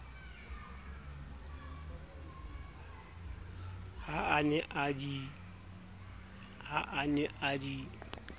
ha a ne a di